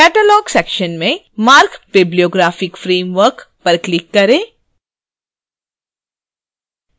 catalog section में marc bibliographic framework पर click करें